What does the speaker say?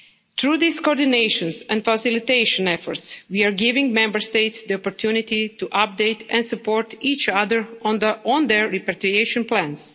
Through these coordination and facilitation efforts we are giving Member States the opportunity to update and support each other on their repatriation plans.